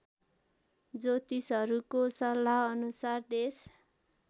ज्योतिषहरूको सल्लाहअनुसार देश